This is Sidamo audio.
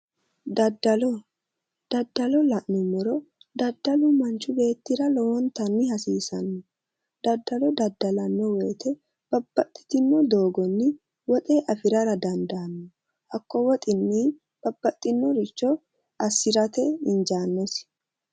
Daddalo, daddalo la'nummoro daddalu manxhi beettira lowontanni hasiisanno. Daddalo daddalanno woyite babbaxxitino doogonni woxe afirara dandaanno. Hakko woxinni babbaxxinoricho assirate injaannosi.